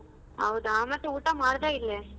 ಹೌದಾ, ಮತ್ತೆ ಊಟ ಮಾಡ್ದ ಇಲ್ಲೇ?